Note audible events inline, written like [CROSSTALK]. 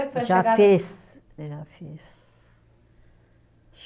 [UNINTELLIGIBLE] Já fez eh já fez